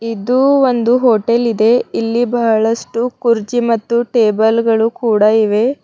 ಇದು ಒಂದು ಹೋಟೆಲ್ ಇದೆ ಇಲ್ಲಿ ಬಹಳಷ್ಟು ಕುರ್ಜಿ ಮತ್ತು ಟೇಬಲ್ಗಳು ಕೂಡ ಇವೆ.